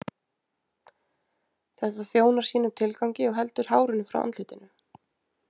Þetta þjónar sínum tilgangi og heldur hárinu frá andlitinu.